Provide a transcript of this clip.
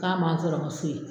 K'a man n sɔrɔ n ka so yen.